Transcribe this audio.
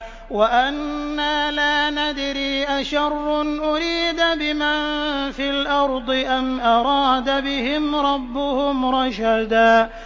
وَأَنَّا لَا نَدْرِي أَشَرٌّ أُرِيدَ بِمَن فِي الْأَرْضِ أَمْ أَرَادَ بِهِمْ رَبُّهُمْ رَشَدًا